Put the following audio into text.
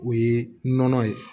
O ye nɔnɔ ye